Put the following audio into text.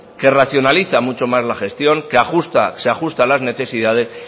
que racionaliza mucho más la gestión que ajusta se ajusta a las necesidades